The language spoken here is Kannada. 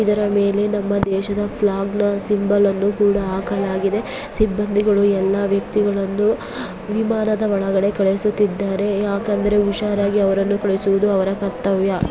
ಇದರ ಮೇಲೆ ನಮ್ಮ ದೇಶದ ಫ್ಲಾಗ್ ನ ಸಿಂಬಲ್ ಅನ್ನು ಕೂಡ ಹಾಕಲಾಗಿದೆ ಸಿಬ್ಬಂದಿಗಳು ಎಲ್ಲ ವ್ಯಕ್ತಿಗಳನ್ನು ವಿಮಾನದ ಒಳಗಡೇ ಕಳಿಸುತ್ತಿದ್ದಾರೆ ಯಾಕಂದ್ರೆ ಹುಷಾರಾಗಿ ಅವರನ್ನು ಕಳಿಹಿಸುವುದು ಅವರ ಕರ್ತವ್ಯ .